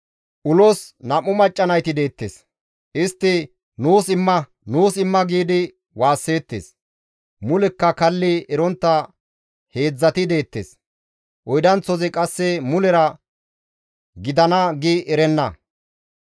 «Ulos nam7u macca nayti deettes. Istti, ‹Nuus imma! Nuus imma!› giidi waasseettes. Mulekka kalli erontta heedzdzati deettes; oydanththozi qasse mulera, ‹Gidana› gi erenna.